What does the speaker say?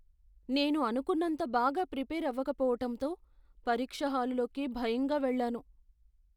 నేను అనుకున్నంత బాగా ప్రిపేర్ అవకపోవటంతో పరీక్ష హాలులోకి భయంగా వెళ్లాను.